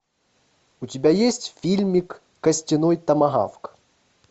у тебя есть фильмик костяной томагавк